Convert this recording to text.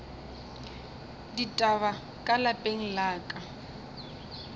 ditaba ka lapeng la ka